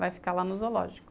Vai ficar lá no zoológico.